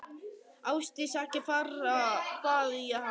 Ásdís, ekki fara, bað ég hana.